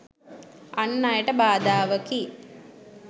අන් අයට බාධාවකි.